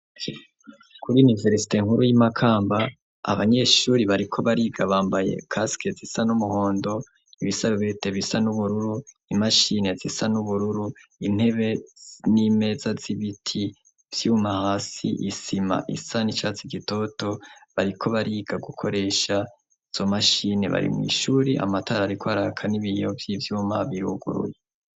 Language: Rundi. kuri niveresite nkuru y'imakamba abanyeshuri bariko bariga bambaye casq zisa n'umuhondo ibisarubete bisa n'ubururu imashine zisa n'ubururu intebe n'imeza z'ibiti vyuma hasi isima isa n'icatie gitoto bariko bariga gukoresha izo mashine bari mu ishuri amatarariko arakan ibiyobye vyuma biruguruye.